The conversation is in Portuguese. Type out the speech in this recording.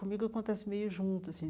Comigo acontece meio junto assim.